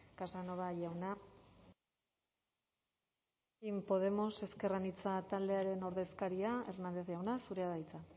casanova jauna elkarrekin podemos ezker anitza taldearen ordezkaria hernández jauna zurea da hitza